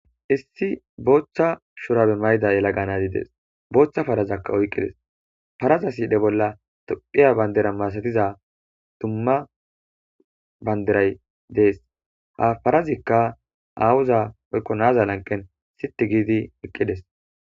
Issi bootha shurabe mayida yelaga nazi des, bootha parazaka oykides, parza sidhe bolla tophiya bandida masatiza dumma bandiray des, ha parazika awoza woyko nza lanqen siti gid eqides